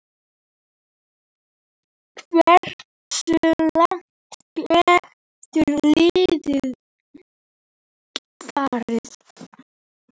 Hversu langt getur liðið farið?